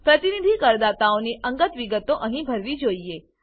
પ્રતિનિધિ કરદાતાઓની અંગત વિગતો અહીં ભરવી જોઈએ